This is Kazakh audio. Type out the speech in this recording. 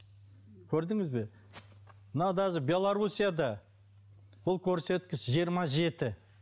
көрдіңіз бе мынау даже белоруссияда ол көрсеткіш жиырма жеті